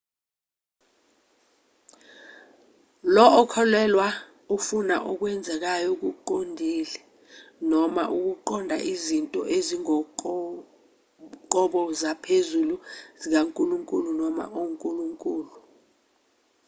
lo okholelwayo ufuna okwenzekayo okuqondile noma ukuqonda izinto ezingokoqobo zaphezulu/zikankulunkulu noma onkulunkulu